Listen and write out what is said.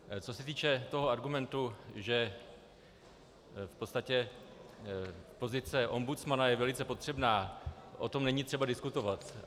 Co se týče toho argumentu, že v podstatě pozice ombudsmana je velice potřebná, o tom není třeba diskutovat.